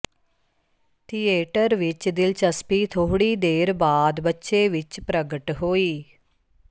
theatre ਵਿਚ ਦਿਲਚਸਪੀ ਥੋੜ੍ਹੀ ਦੇਰ ਬਾਅਦ ਬੱਚੇ ਵਿਚ ਪ੍ਰਗਟ ਹੋਈ